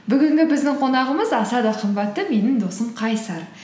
бүгінгі біздің қонағымыз аса да қымбатты менің досым қайсар